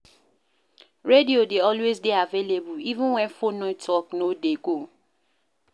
Radio dey always dey available even when phone network no dey go